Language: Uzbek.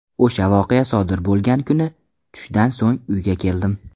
O‘sha voqea sodir bo‘lgan kuni tushdan so‘ng uyga keldim.